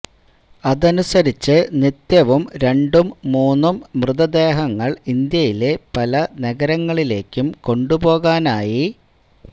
അതനുസരിച്ച് നിത്യവും രണ്ടും മൂന്നും മൃതദേഹങ്ങൾ ഇന്ത്യയിലെ പല നഗരങ്ങളിലേക്കും കൊണ്ടുപോകാനായി